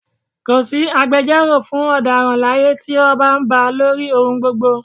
Ko sí agbejọ́rò fún ọ̀daràn láyé tí ọba ba lórí ohun gbogbo